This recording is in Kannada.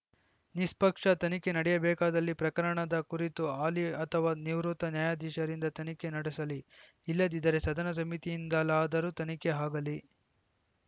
ನಿಸ್ಪಕ್ಷ ತನಿಖೆ ನಡೆಯಬೇಕಾದಲ್ಲಿ ಪ್ರಕರಣದ ಕುರಿತು ಹಾಲಿ ಅಥವಾ ನಿವೃತ್ತ ನ್ಯಾಯಾಧೀಶರಿಂದ ತನಿಖೆ ನಡೆಸಲಿ ಇಲ್ಲದಿದ್ದರೆ ಸದನ ಸಮಿತಿಯಿಂದಲಾದರೂ ತನಿಖೆ ಆಗಲಿ